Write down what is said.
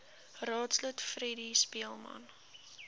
raadslid freddie speelman